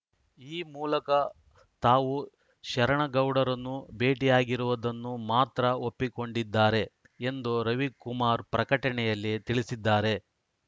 ಈ ಮೂಲಕ ತಾವು ಶರಣಗೌಡರನ್ನು ಭೇಟಿಯಾಗಿರುವುದನ್ನು ಮಾತ್ರ ಒಪ್ಪಿಕೊಂಡಿದ್ದಾರೆ ಎಂದು ರವಿಕುಮಾರ್‌ ಪ್ರಕಟಣೆಯಲ್ಲಿ ತಿಳಿಸಿದ್ದಾರೆ